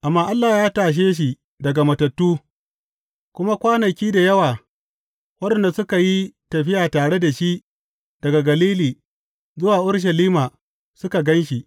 Amma Allah ya tashe shi daga matattu, kuma kwanaki da yawa waɗanda suka yi tafiya tare da shi daga Galili zuwa Urushalima suka gan shi.